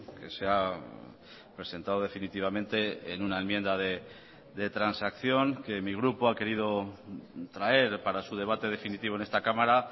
que se ha presentado definitivamente en una enmienda de transacción que mi grupo ha querido traer para su debate definitivo en esta cámara